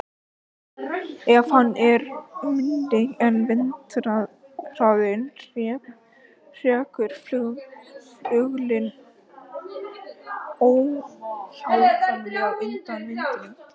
Ef hann er minni en vindhraðinn hrekur fuglinn óhjákvæmilega undan vindinum.